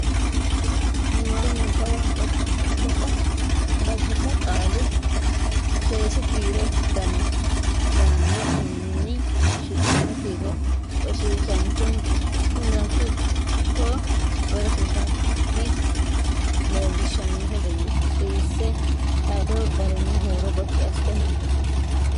Niwaawe Nabbawa Biddissa “Qaalu Seesi kiiro Dana” yaanno uminni shiqqino kiiro rosiisaanchu(o)kki leellishannohe garinni suwisse xawadu garinni huuro gotti assite nabbawi.